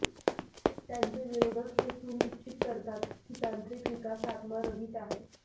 त्यांचे विरोधक हे सुनिश्चित करतात की तांत्रिक विकास आत्मा रहित आहे